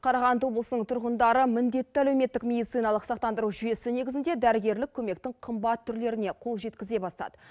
қарағанды облысының тұрғындары міндетті әлеуметтік медициналық сақтандыру жүйесі негізінде дәрігерлік көмектің қымбат түрлеріне қол жеткізе бастады